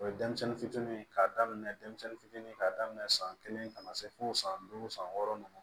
O ye denmisɛnnin fitinin ye k'a daminɛ denmisɛnnin fitinin k'a daminɛ san kelen ka na se fo san duuru san wɔɔrɔ ɲɔgɔn ma